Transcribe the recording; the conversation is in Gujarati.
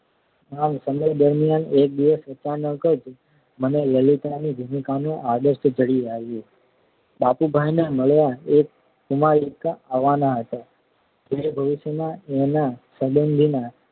આ સમય દરમિયાન એક દિવસે અચાનક જ મને લલિતાની ભૂમિકાનો આદર્શ જડી આવ્યો બાબુભાઈને મળવા એક કુમારિકા આવવાનાં હતાં જે ભવિષ્યમાં એમના સંબંધીનાં